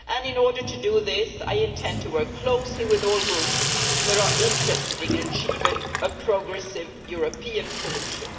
In order to do this, I intend to work closely with all groups that are interested in achieving a progressive European solution.